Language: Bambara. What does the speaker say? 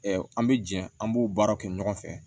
an bɛ jɛ an b'o baara kɛ ɲɔgɔn fɛ